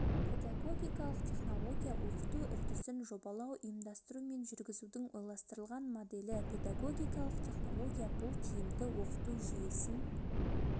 педагогикалық технология оқыту үрдісін жобалау ұйымдастыру мен жүргізудің ойластырылған моделі педагогикалық технология бұл тиімді оқыту жүйесін